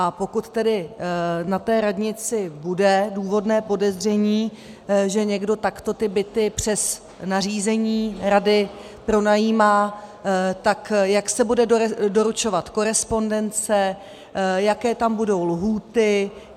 A pokud tedy na té radnici bude důvodné podezření, že někdo takto ty byty přes nařízení rady pronajímá, tak jak se bude doručovat korespondence, jaké tam budou lhůty.